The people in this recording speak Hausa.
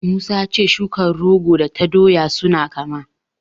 Musa ya ce shukar rogo da ta doya suna kama.